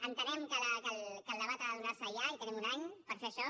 entenem que el debat ha de donar se ja i tenim un any per fer això